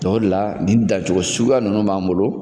o de la nin dancogo suguya ninnu b'an bolo